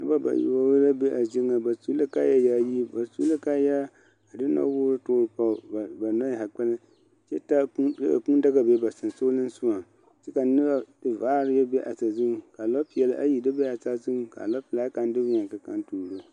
Nobɔ bayoɔ la be a zie nyɛŋ ba su la kaaya yaayi ba su la kaayaa a de nɔwoore toore pɔge ba nɔɛ zaa kpɛlɛm kyɛ taa kuu kyɛ ka kuu daga be ba sensogleŋsogaŋ kyɛ nobɔ vaare yɛ be a sazuŋ ka nɔpeɛl ayi dɔ be a saazuŋ ka a nɔpelaa kaŋ de wieɛ ka kaŋ tuuro.